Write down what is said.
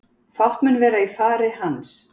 Fátt mun vera í fari hans